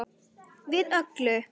Við öllu.